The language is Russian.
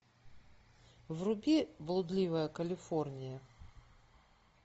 вруби блудливая калифорния